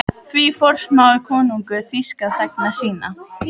Því forsmáir konungur þýska þegna sína?